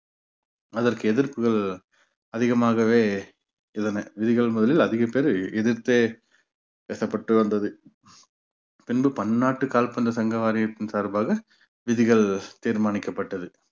அதற்கு எதிர்ப்புகள் அதிகமாகவே இருந்தன விதிகள் முதலில் அதிகப்பேரை எதிர்த்தே பேசப்பட்டு வந்தது பின்பு பன்னாட்டு கால்பந்து சங்க வாரியத்தின் சார்பாக விதிகள் தீர்மானிக்கப்பட்டது.